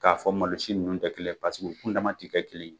K'a fɔ malosi ninnu tɛ kelen ye paseke u kun dama ti kɛ kelen ye